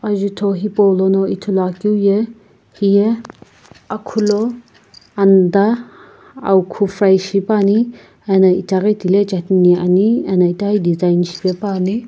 azutho hipou lono ithulu akeu ye hiye nigu akhu.